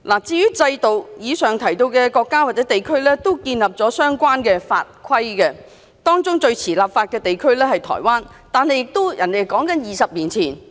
至於制度，以上提到的國家或地區都建立了相關法規，當中最遲立法的地區是台灣，但也是20年前。